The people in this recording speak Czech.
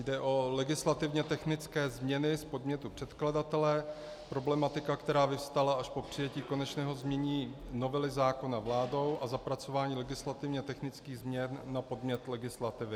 Jde o legislativně technické změny z podnětu předkladatele, problematika, která vyvstala až po přijetí konečného znění novely zákona vládou a zapracování legislativně technických změn na podnět legislativy.